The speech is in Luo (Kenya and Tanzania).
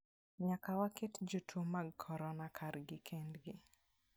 Nyaka waket jotuo mag corona kar kendgi.